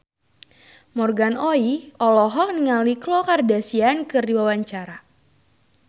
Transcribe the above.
Morgan Oey olohok ningali Khloe Kardashian keur diwawancara